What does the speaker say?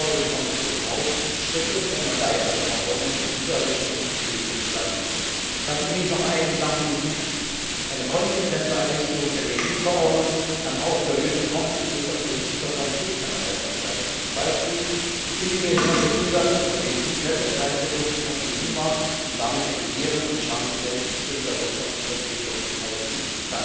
Ich fordere die Kommission auf, Schritte für eine weitere Verordnung in dieser Richtung in die Wege zu leiten. Lassen Sie mich noch einen Gedanken hinzufügen Eine konsequente Einführung der Made in Verordnung kann auch zur Lösung komplizierter politischer Konflikte einen Beitrag leisten, zum Beispiel die ungehinderte Zulassung von Made in Palestine Produkten auf den EU Markt und damit die Gewährung der Chance auf selbstbestimmte wirtschaftliche Entwicklung in Palästina.